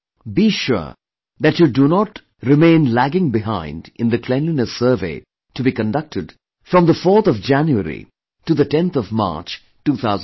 Be sure that you do not remain lagging behind in the Cleanliness Survey to be conducted from 4th January to 10th March, 2018